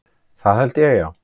Það held ég, já.